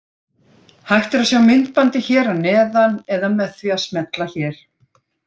Hægt er að sjá myndbandið hér að neðan eða með því að smella hér.